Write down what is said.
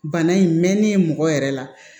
Bana in mɛnnen mɔgɔ yɛrɛ la